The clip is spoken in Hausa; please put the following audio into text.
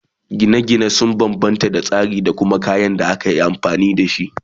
Gina gine sun banbanta da tsarin Gini da kuma kayan da akayi ginin dashi